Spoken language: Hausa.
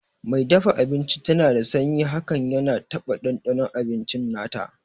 Mai dafa abinci dana da sanyi hakan yana taba ɗanɗanon abinci nata